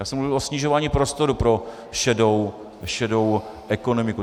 Já jsem mluvil o snižování prostoru pro šedou ekonomiku.